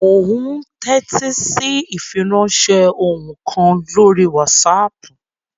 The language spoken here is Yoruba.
Mò ún tẹ́tí sí ìfiránsẹ́ ohùn kan lórí wásaàpù